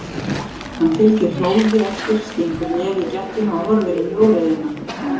Hann fylgir Hrólfi eftir, stingur nefi í gættina og horfir inn í óreiðuna.